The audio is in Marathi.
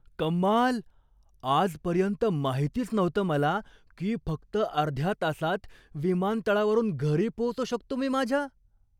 कमाल! आजपर्यंत माहितीच नव्हतं मला की फक्त अर्ध्या तासात विमानतळावरून घरी पोहोचू शकतो मी माझ्या.